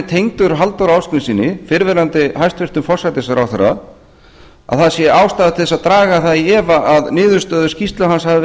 tengdur halldóri ásgrímssyni fyrrverandi hæstvirtur forsætisráðherra að það sé ástæða til þess að draga það í efa að niðurstöður skýrslu hans hafi